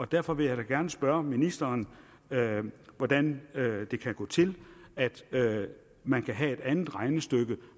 derfor vil jeg da gerne spørge ministeren hvordan det kan gå til man kan have et andet regnestykke